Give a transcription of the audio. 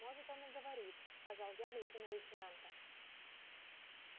может он и говорит сказал я глядя на лейтенанта